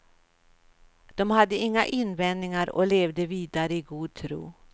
De hade inga invändningar och levde vidare i god tro.